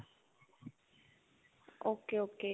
ok ok .